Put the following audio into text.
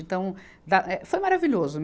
Então, da eh foi maravilhoso.